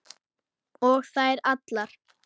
Og þær allar.